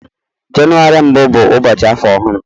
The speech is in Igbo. Jenụwarị mbụ bụ ụbọchị afọ ọhụrụ.